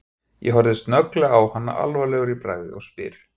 Ég horfi snögglega á hana alvarlegur í bragði og spyr